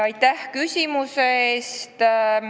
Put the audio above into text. Aitäh küsimuse eest!